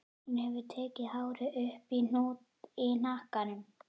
Hún hefur tekið hárið upp í hnút í hnakkanum.